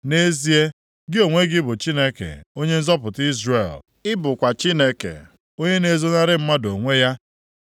Nʼezie, gị onwe gị bụ Chineke, Onye nzọpụta Izrel. Ị bụkwa Chineke, onye na-ezonarị mmadụ onwe ya.